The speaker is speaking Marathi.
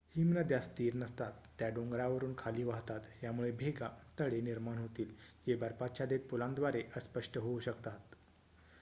हिमनद्या स्थिर नसतात त्या डोंगरावरून खाली वाहतात यामुळे भेगा तडे निर्माण होतील जे बर्फाच्छादित पुलांद्वारे अस्पष्ट होऊ शकतात